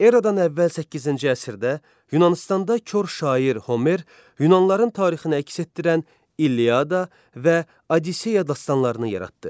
Erədən əvvəl 8-ci əsrdə Yunanıstanda kor şair Homer Yunanlıların tarixinə əks etdirən İlyada və Odisseya dastanlarını yaratdı.